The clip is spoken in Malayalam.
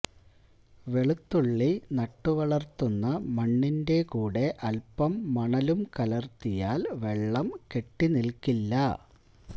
വെളുത്തുണ്ണി നട്ടുവളര്ത്തുന്ന മണ്ണിന്റെ കൂടെ അല്പം മണലും കലര്ത്തിയാല് വെള്ളം കെട്ടിനില്ക്കില്ല